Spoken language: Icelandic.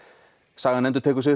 sagan endurtekið sig